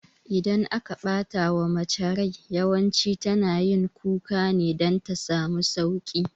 Idan aka ɓatawa mace rai yawanci tana yin kuka ne dan ta samu sauƙi